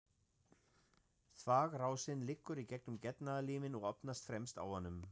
Þvagrásin liggur í gegnum getnaðarliminn og opnast fremst á honum.